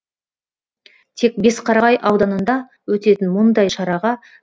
тек бесқарағай ауданында өтетін мұндай шараға